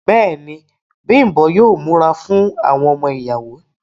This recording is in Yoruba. Bẹ́ẹ̀ni, Bimbo yóò múra fún àwọn ọmọ ìyàwó.